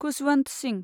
Khushwant Singh